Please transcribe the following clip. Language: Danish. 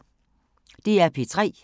DR P3